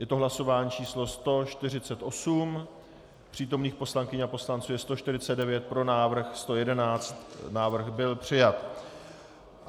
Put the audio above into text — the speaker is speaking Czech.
Je to hlasování číslo 148, přítomných poslankyň a poslanců je 149, pro návrh 111, návrh byl přijat.